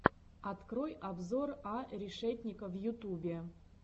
открой обзор а решетника в ютубе